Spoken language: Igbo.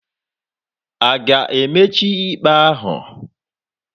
A ga-emechi ikpe ahu?